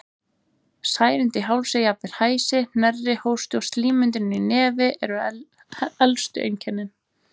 Særindi í hálsi, jafnvel hæsi, hnerri, hósti og slímmyndun í nefi eru elstu einkennin.